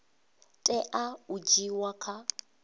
tea u dzhiiwa kha u